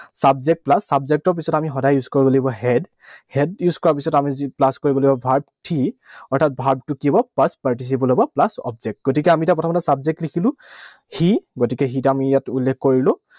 Subject plus subject ৰ পিছত আমি সদায় use কৰিব লাগিব had, had use কৰা পিছত আমি যি plus কৰিব লাগিব, verb three, অৰ্থাৎ verb টো কি হব? Past participle হব, plus object, গতিকে আমি এতিয়া প্ৰথমতে subject লিখিলো। সি, গতিকে সিটো আমি ইয়াত উল্লেখ কৰিলো।